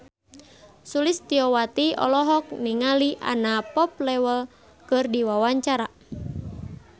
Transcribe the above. Sulistyowati olohok ningali Anna Popplewell keur diwawancara